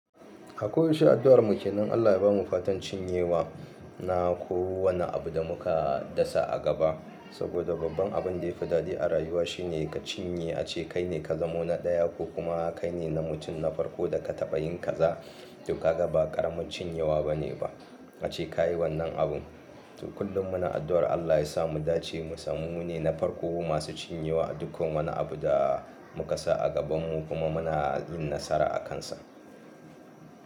A koyaushe addu'ar mu ke nan Allah ya bamu fatan cinyewa na ko wane abu da muka dasa a gaba. Saboda babban abin da ya fi dadi a rayuwa shine ka cinye, ace kai ne ka zamo na ɗaya ko kuma kai ne na mutum na farko da ka taɓa yin kaza. To kaga ba ƙaramin cinyewa bane ba, ace ka yi wannan abun. To kullum muna addu'ar Allah ya sa mu dace musammu ne na farko masu cinyewa a duk wani abu da muka sa a gabanmu kuma muna yin nasara akansa.